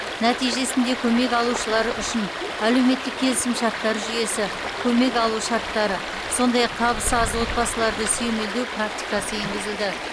нәтижесінде көмек алушылар үшін әлеуметтік келісімшарттар жүйесі көмек алу шарттары сондай ақ табысы аз отбасыларды сүйемелдеу практикасы енгізілді